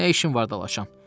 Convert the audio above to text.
Nə işin var dalaşam?